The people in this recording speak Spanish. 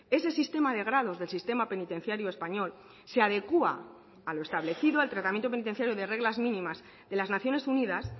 ese sistema de grados del sistema penitenciario español se adecúa a lo establecido al tratamiento penitenciario de reglas mínimas de las naciones unidas